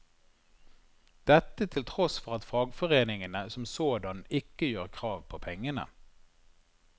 Dette til tross for at fagforeningene som sådan ikke gjør krav på pengene.